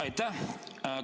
Aitäh!